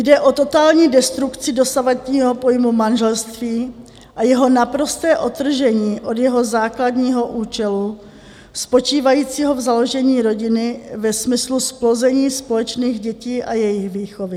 Jde o totální destrukci dosavadního pojmu manželství a jeho naprosté odtržení od jeho základního účelu spočívajícího v založení rodiny ve smyslu zplození společných dětí a jejich výchovy.